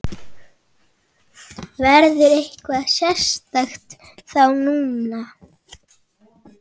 Verður eitthvað sérstakt þá núna?